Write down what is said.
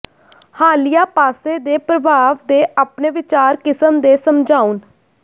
ਹਾਲੀਆ ਪਾਸੇ ਦੇ ਪ੍ਰਭਾਵ ਦੇ ਆਪਣੇ ਵਿਚਾਰ ਕਿਸਮ ਦੇ ਸਮਝਾਉਣ